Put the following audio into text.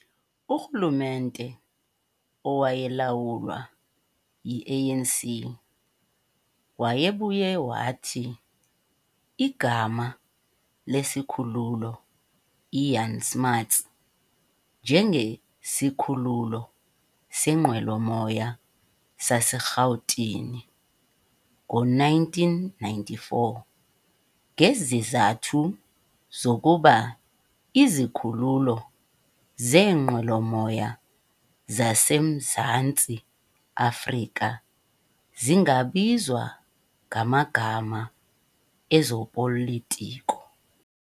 Urhulumente owayelawulwa yi-ANC wayebuye wathi igama lesikhululo iJan Smuts njengeSikhululo senqwelomoya saseRhawutini ngo-1994 ngezizathu zokuba izikhululo zeenqwelomoya zase Mzantsi Afrika zingabizwa ngamagama ezopolitiko.